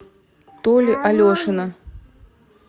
толи алешина